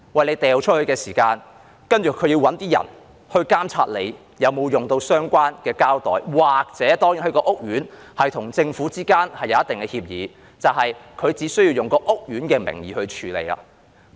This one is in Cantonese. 你扔垃圾的時候，他們要找人監察你有否使用相關的膠袋，又或屋苑如與政府之間有一定的協議，那便以屋苑的名義去處理。